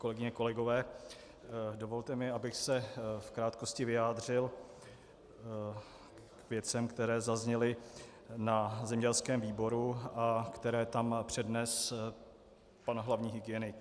Kolegyně, kolegové, dovolte mi, abych se v krátkosti vyjádřil k věcem, které zazněly na zemědělském výboru a které tam přednesl pan hlavní hygienik.